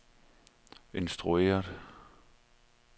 instrueret